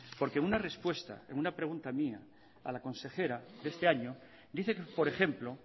porque una respuesta en una pregunta mía a la consejera de este año dice por ejemplo